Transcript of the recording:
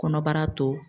Kɔnɔbara to